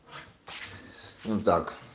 ну так